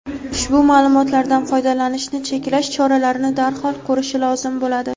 ushbu ma’lumotlardan foydalanishni cheklash choralarini darhol ko‘rishi lozim bo‘ladi.